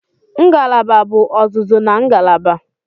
Ngalaba bụ ọzụzụ na ngalaba.